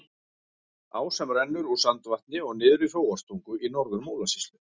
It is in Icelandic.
Á sem rennur úr Sandvatni og niður í Hróarstungu í Norður-Múlasýslu.